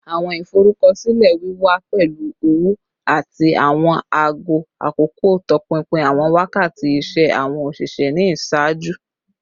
Awọn iforukọsilẹ wiwa pẹlu ọwọ ati awọn aago akoko tọpinpin awọn wakati iṣẹ awọn oṣiṣẹ ni iṣaaju